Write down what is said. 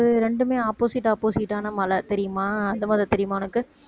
ரெண்டுமே opposite opposite ஆன மலை தெரியுமா அது முதல் தெரியுமா உனக்கு